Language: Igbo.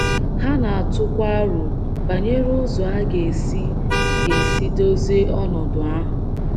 Ha na - atụkwa aro banyere ụzọ a ga - esi ga - esi dozie ọnọdụ ahụ.